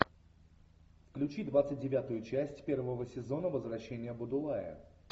включи двадцать девятую часть первого сезона возвращение будулая